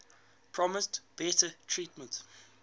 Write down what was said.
promised better treatment